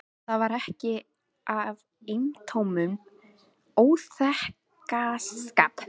Það var ekki af eintómum óþokkaskap.